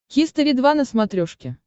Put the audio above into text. хистори два на смотрешке